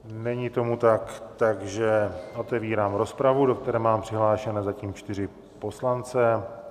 Není tomu tak, takže otevírám rozpravu, do které mám přihlášené zatím čtyři poslance.